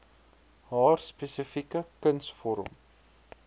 haar spesifieke kunsvorm